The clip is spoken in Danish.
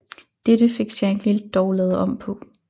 Dette fik Shankly dog lavet om på